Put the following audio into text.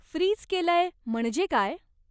Fridge केलंय म्हणजे काय?